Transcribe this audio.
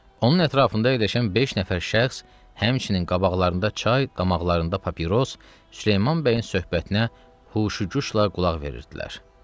Onun ətrafında əyləşən beş nəfər şəxs, həmçinin qabaqlarında çay, damaqlarında papiros, Süleyman bəyin söhbətinə huşquşla qulaq verirdilər.